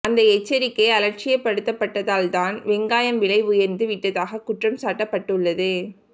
அந்த எச்சரிக்கை அலட்சியப்படுத்தப்பட்டதால்தான் வெங்காயம் விலை உயர்ந்து விட்டதாக குற்றம் சாட்டப்பட்டுள்ளது